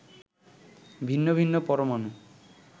ভিন্ন ভিন্ন পরমাণু